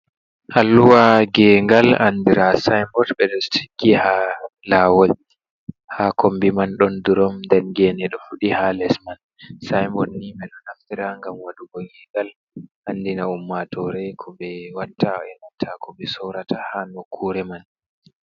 Alluwa ngegal, andira sainbot ɓe ɗo tiggi ha lawol, ha kombi man ɗon durom, nden gene ɗo fudi ha les man. Saibot ni ɓe ɗo naftira ngam wadugo ngegal andina ummatore ko ɓe watta, e nanta ko ɓe sorata ha nokure man.